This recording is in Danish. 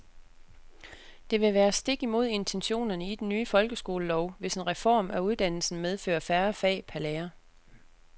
Det vil være stik imod intentionerne i den nye folkeskolelov, hvis en reform af uddannelsen medfører færre fag per lærer.